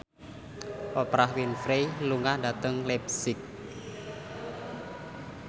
Oprah Winfrey lunga dhateng leipzig